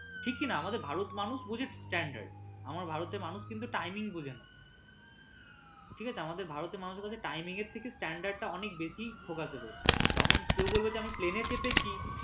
ঠিক কিনা আমাদের ভারতে মানুষ বোঝে standard ভারতে মানুষ কিন্তু timing বোঝে না ঠিক আছে আমাদের ভারতের মানুষের কাছে timing এর থেকে standard টা অনেক বেশী প্রকাসেবেল আমি plane এ চেপেছি